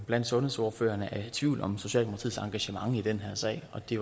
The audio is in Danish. blandt sundhedsordførerne er i tvivl om socialdemokratiets engagement i den her sag og det